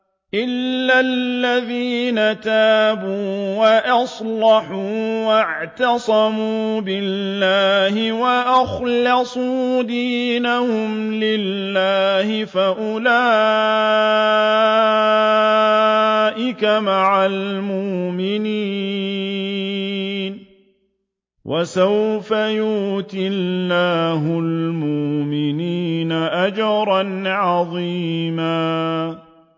إِلَّا الَّذِينَ تَابُوا وَأَصْلَحُوا وَاعْتَصَمُوا بِاللَّهِ وَأَخْلَصُوا دِينَهُمْ لِلَّهِ فَأُولَٰئِكَ مَعَ الْمُؤْمِنِينَ ۖ وَسَوْفَ يُؤْتِ اللَّهُ الْمُؤْمِنِينَ أَجْرًا عَظِيمًا